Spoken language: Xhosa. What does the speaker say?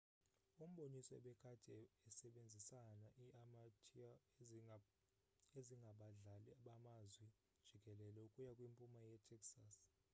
umboniso ebekade esebenzisana i-amateur ezingabadlali bamazwi jikelele ukuya kwimpuma ye-texas